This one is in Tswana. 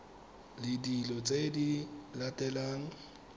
le dilo tse di latelang